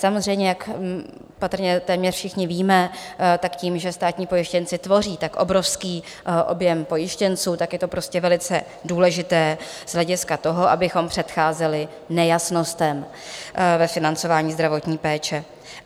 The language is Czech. Samozřejmě jak patrně téměř všichni víme, tak tím, že státní pojištěnci tvoří tak obrovský objem pojištěnců, tak je to prostě velice důležité z hlediska toho, abychom předcházeli nejasnostem ve financování zdravotních péče.